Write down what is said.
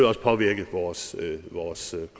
også påvirke vores vores